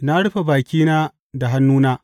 Na rufe bakina da hannuna.